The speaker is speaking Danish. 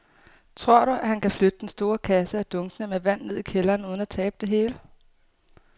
Tror du, at han kan flytte den store kasse og dunkene med vand ned i kælderen uden at tabe det hele?